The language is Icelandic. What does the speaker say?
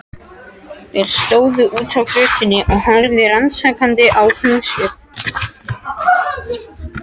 Þeir stóðu úti á götunni og horfðu rannsakandi á húsið.